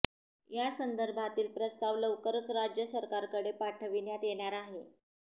या संदर्भातील प्रस्ताव लवकरच राज्य सरकारकडे पाठविण्यात येणार आहे